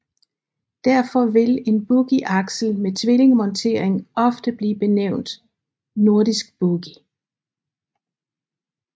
Derfor vil en boogieaksel med tvillingemontering ofte blive benævnt nordisk boogie